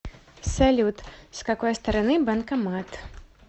салют с какой стороны банкомат